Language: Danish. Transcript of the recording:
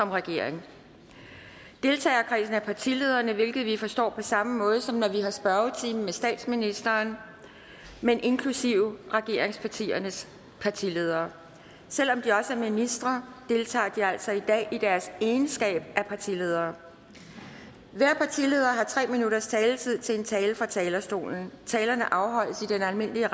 regering deltagerkredsen er partilederne hvilket vi forstår på samme måde som når vi har spørgetime med statsministeren men inklusive regeringspartiernes partiledere selv om de også er ministre deltager de altså i dag i deres egenskab af partiledere hver partileder har tre minutters taletid til en tale fra talerstolen talerne afholdes i den almindelige